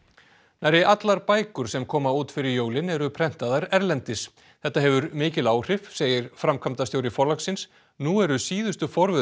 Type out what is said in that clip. nærri allar bækur sem koma út fyrir jólin eru prentaðar erlendis þetta hefur mikil áhrif segir framkvæmdastjóri Forlagsins nú eru síðustu forvöð